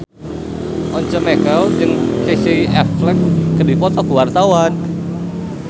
Once Mekel jeung Casey Affleck keur dipoto ku wartawan